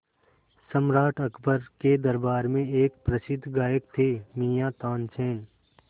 सम्राट अकबर के दरबार में एक प्रसिद्ध गायक थे मियाँ तानसेन